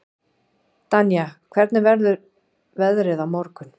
Danía, hvernig verður veðrið á morgun?